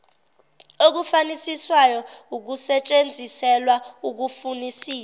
okufunisisayo kusetshenziselwa ukufunisisa